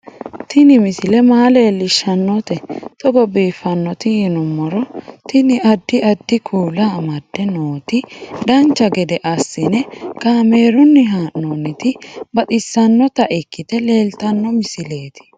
Tini misile maa leellishshannote togo biiffinoti yinummoro tini. addi addi kuula amadde nooti dancha gede assine kaamerunni haa'noonniti baxissannota ikkite leeltanno misileeti